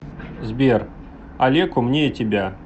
сбер олег умнее тебя